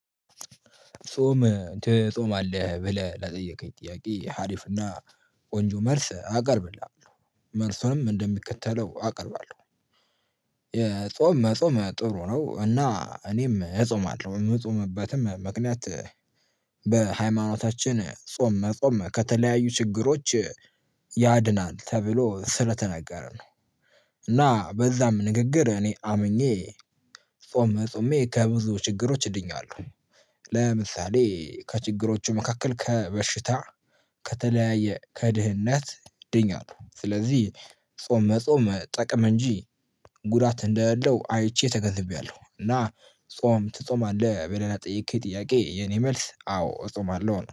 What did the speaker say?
ጾም ትጾማለህ? ብለህ ለጠየቀኝ ጥያቄ አሪፍና ቆንጆ መልስ አቀርብልሃለሁ። መልሱንም እንደሚከተለው አቀርባለሁ። የጾም መጾም ጥሩ ነው እና እኔም እጾማለሁ። የምጾምበትም ምክንያት በሃይማኖታችን ጾም ጾም ከተለያዩ ችግሮች ያድናል ተብሎ ስለተነገረ ነው። እና በዛም ንግግር እኔ አምኜ ጾም ጾሜ ከብዙ ችግሮች ድኛለሁ። ለምሳሌ ከችግሮቹ መካከል ከበሽታ ከተለያየ ከድህነት ድኛለሁ ስለዚህ ጾም መጾም ጥቅም እንጂ ጉዳት እንደሌለው አይቼ ተገንዝቤያለሁ። እና ጾም ትጾማለህ በሌላ የጠየቅከኝ ጥያቄ የኔ መልስ አዎ እጾማለሁ።